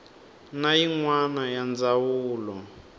na yin wana ya ndzawulo